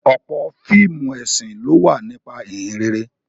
Ọ̀pọ̀ fíìmù ẹ̀sìn ló wà nípa Ìhìnrere